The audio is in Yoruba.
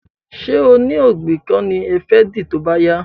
Ṣé oní ògbìn kan ni ẹ fẹ́ dì tóbá yá